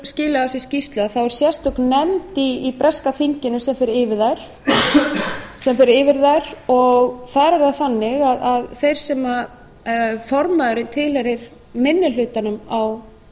skilað af sér skýrslu er sérstök nefnd í breska þinginu sem fer yfir þær og þar er það þannig að þeir sem formaðurinn tilheyrir minni hlutanum á